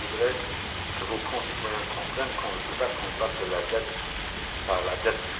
Je voudrais que vos concitoyens comprennent qu'on ne peut pas combattre la dette par la dette.